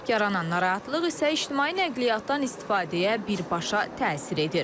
Yaranan narahatlıq isə ictimai nəqliyyatdan istifadəyə birbaşa təsir edir.